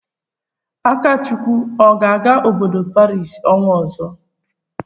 Akachukwu ọ ga-aga obodo Paris ọnwa ọzọ?